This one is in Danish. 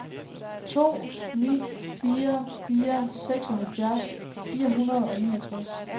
to ni fire fire seksoghalvfjerds fire hundrede og niogtres